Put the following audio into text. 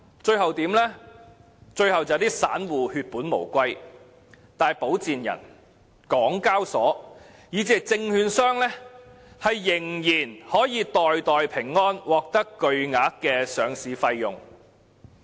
最後，散戶血本無歸，但保薦人、港交所以至證券商仍可袋袋平安，獲得巨額的上市費用。